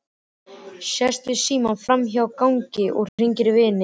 Sest við símann frammi á gangi og hringir í vininn.